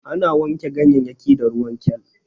Ana wanke ganyayyaki da ruwan kal.